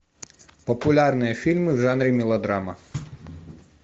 популярные фильмы в жанре мелодрама